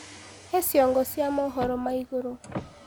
he cĩongo cia mohoro ma iguru